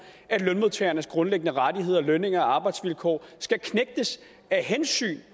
at lønmodtagernes grundlæggende rettigheder lønninger og arbejdsvilkår skal knægtes af hensyn